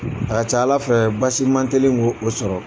A ka ca Ala fɛ basi man teli k'o sɔrɔ